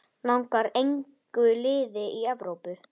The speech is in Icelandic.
Langar engu liði í Evrópu?